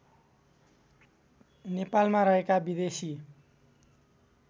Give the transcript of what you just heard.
नेपालमा रहेका विदेशी